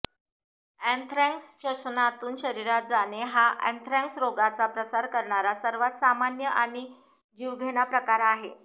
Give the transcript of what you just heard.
anthrax श्वसनातून शरीरात जाणे हा अँथ्रॅक्स रोगाचा प्रसार करणारा सर्वात सामान्य आणि जीवघेणा प्रकार आहे